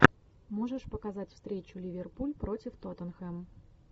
можешь показать встречу ливерпуль против тоттенхэм